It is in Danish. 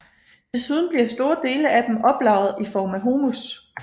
Desuden bliver store dele af dem oplagret i form af humus